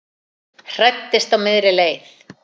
Hræddist á miðri leið